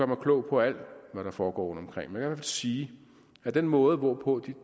mig klog på alt hvad der foregår rundtomkring men jeg sige at den måde hvorpå de